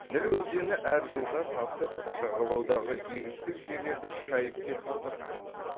ніл өзені әр жылда тасып жағалаудағы егістік жерлерді шайып кетіп отырған